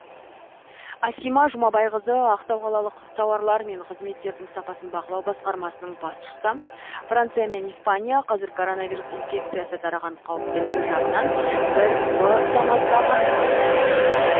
асима жұмабайқызы ақтау қалалық тауарлар мен қызметтердің сапасын бақылау басқармасының басшысы франция мен испания қазір коронавирус инфекциясы тараған қауіптілігі жағынан бір б санаттағы мемлекеттер